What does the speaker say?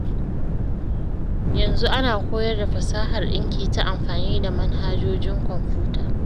Yanzu ana koyar da fasahar ɗinki ta amfani da manhajojin kwamfuta.